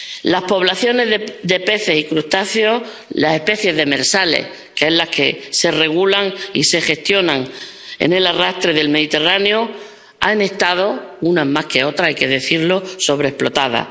Las poblaciones de peces y crustáceos, las especies demersales, que son las que se regulan y se gestionan en la pesca de arrastre del Mediterráneo, han estado —unas más que otras, hay que decirlo— sobreexplotadas.